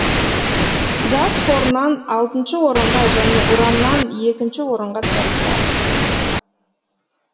газ қорынан алтыншы орынға және ураннан екінші орынға тұрақта